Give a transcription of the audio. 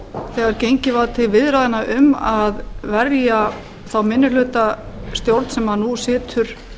þegar gengið var til viðræðna um að verja þá minnihlutastjórn sem nú situr